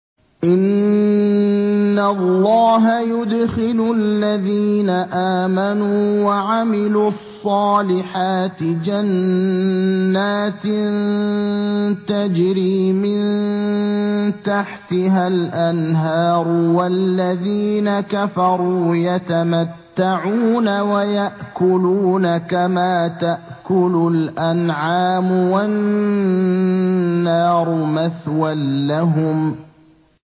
إِنَّ اللَّهَ يُدْخِلُ الَّذِينَ آمَنُوا وَعَمِلُوا الصَّالِحَاتِ جَنَّاتٍ تَجْرِي مِن تَحْتِهَا الْأَنْهَارُ ۖ وَالَّذِينَ كَفَرُوا يَتَمَتَّعُونَ وَيَأْكُلُونَ كَمَا تَأْكُلُ الْأَنْعَامُ وَالنَّارُ مَثْوًى لَّهُمْ